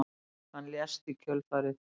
Hann lést í kjölfarið